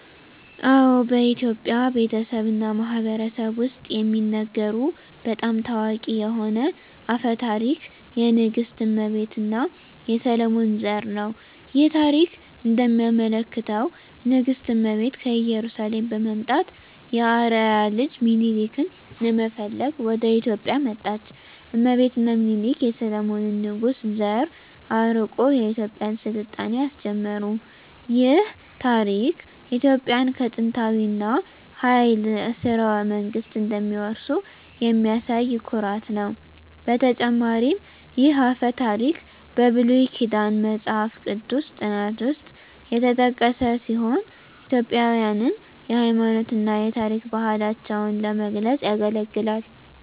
አዎ፣ በኢትዮጵያ ቤተሰብ እና ማህበረሰብ ውስጥ የሚነገሩ በጣም ታዋቂ የሆነ አፈ ታሪክ የንግሥት እመቤት እና የሰሎሞን ዘር ነው። ይህ ታሪክ እንደሚያመለክተው ንግሥት እመቤት ከኢየሩሳሌም በመምጣት የአርአያ ልጅ ሚኒሊክን ለመፈለግ ወደ ኢትዮጵያ መጣች። እመቤት እና ሚኒሊክ የሰሎሞን ንጉሥ ዘር አርቆ የኢትዮጵያን ሥልጣኔ አስጀመሩ። ይህ ታሪክ ኢትዮጵያውያን ከጥንታዊ እና ኃያል ሥርወ መንግሥት እንደሚወርሱ የሚያሳይ ኩራት ነው። በተጨማሪም ይህ አፈ ታሪክ በብሉይ ኪዳን መጽሐፍ ቅዱስ ጥናት ውስጥ የተጠቀሰ ሲሆን ኢትዮጵያውያንን የሃይማኖት እና የታሪክ ባህላቸውን ለመግለጽ ያገለግላል።